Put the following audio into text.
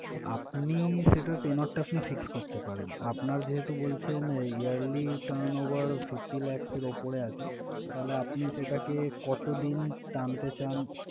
আপনি সেটা tenure টা আপনি fix করতে পারেন। আপনার যেহেতু বলছেন এই yearly turnover fifty lakhs এর উপরে আছে তাহলে, আপনি সেটাকে কতদিন টানতে চান?